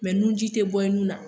Mɛ nuji te bɔ i nun na